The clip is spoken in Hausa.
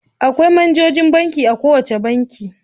Akwai manajojin banki a kowane banki.